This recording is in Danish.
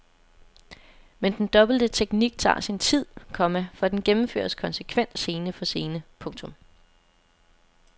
Men den dobbelte teknik tager sin tid, komma for den gennemføres konsekvent scene for scene. punktum